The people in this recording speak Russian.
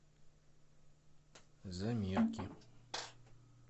замирки